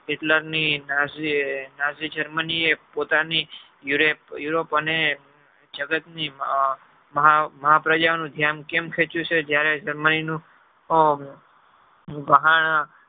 hitler ની germany પોતાની europe અને જગત ની મહા પ્રજા ધ્યાન કેમ છે જયારે સમય નું